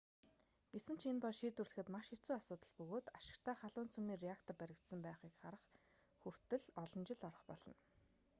гэсэн ч энэ бол шийдвэрлэхэд маш хэцүү асуудал бөгөөд ашигтай халуун цөмийн реактор баригдсан байхыг харах хүртэл олон жил орох болно